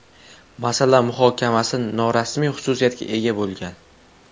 Masala muhokamasi norasmiy xususiyatga ega bo‘lgan.